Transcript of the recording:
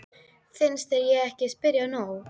Finnst þér ég ekki spyrja nóg?